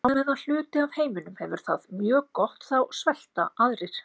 Á meðan hluti af heiminum hefur það mjög gott þá svelta aðrir.